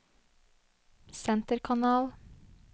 senterkanal